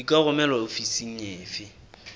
di ka romelwa ofising efe